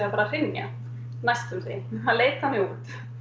fara að hrynja næstum því það leit þannig út